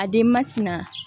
A denba tɛ na